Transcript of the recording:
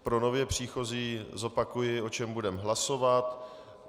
Pro nově příchozí zopakuji, o čem budeme hlasovat.